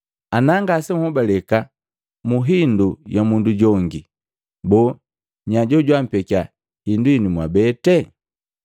Ana ngasenhobaleka mu hindu ya mundu jongi, boo nya jojwampekiya hindu hinu mwabete?